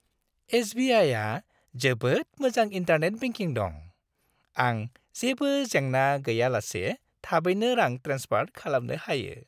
एस.बि.आइ.आ जोबोद मोजां internet banking दं। आं जेबो जेंना गैयालासे थाबैनो रां ट्रेन्सफार खालामनो हायो।